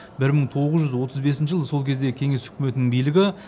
бір мың тоғыз жүз отыз бесінші жылы сол кездегі кеңес өкіметінің билігі